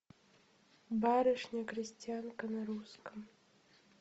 барышня крестьянка на русском